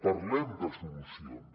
parlem de solucions